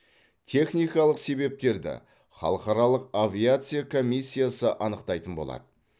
техникалық себептерді халықаралық авиация комиссиясы анықтайтын болады